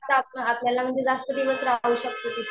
आपल्याला म्हणजे जास्त दिवस राहू शकतो तिथे.